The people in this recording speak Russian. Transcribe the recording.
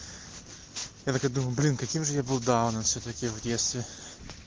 я так и думал блин каким же я был дауном всё-таки в детстве